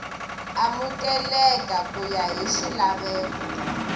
amukeleka ku ya hi swilaveko